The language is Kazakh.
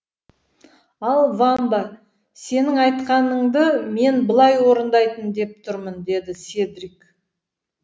ал вамба сенің айтқаныңды мен былай орындайын деп тұрмын деді седрик